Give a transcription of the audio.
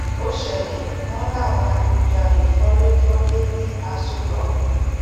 ó ṣẹlẹ wọn láwọn adigunjalè fọlé fọlé ní aṣọ rock